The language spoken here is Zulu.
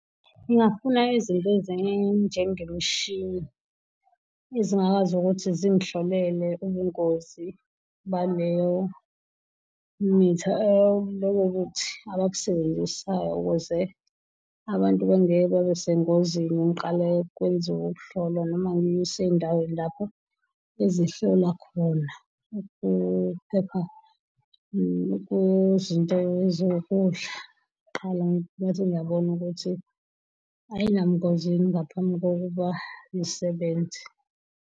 Ngingafuna izinto ezinjengemishini ezingakwazi ukuthi zingihlolele ubungozi baleyo mithi leyo mithi abakusebenzisayo ukuze abantu bengeke babesengozini, ngiqale kwenziwe ukuhlolwa noma ngisendaweni lapho ezihlolwa khona ukuphepha kwezinto eziwukudla kqala ngibese ngiyabona ukuthi ayinabungozi yini ngaphambi kokuba ngisebenze.